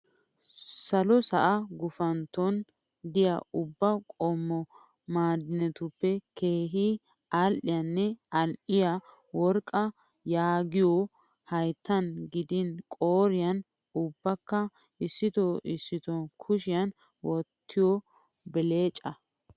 Salo sa'a gupantton diyaa ubba qommo ma'idinetuppe keehi aadhdhiyaanne al'iyaa worqqaa yaagiyoo hayittan gidin qooriyan ubbakka issitoo issitoo kushiyan wottiyoo belecaa.